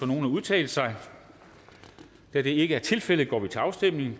nogen at udtale sig da det ikke er tilfældet går vi til afstemning